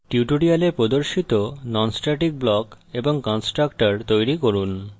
tutorial প্রদর্শিত non static block এবং constructor তৈরী করুন